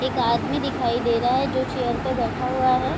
एक आदमी दिखाई दे रहा है जो चेयर पे बैठा हुआ है।